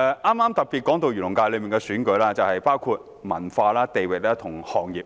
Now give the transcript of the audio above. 剛才特別提到漁農界的選舉，當中涵蓋不同文化、地域及行業，